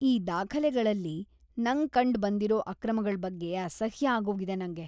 ಈ ದಾಖಲೆಗಳಲ್ಲಿ ನಂಗ್‌ ಕಂಡ್‌ಬಂದಿರೋ ಅಕ್ರಮಗಳ್‌ ಬಗ್ಗೆ ಅಸಹ್ಯ ಆಗೋಗಿದೆ ನಂಗೆ.